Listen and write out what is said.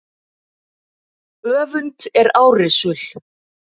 Öfund er árrisul.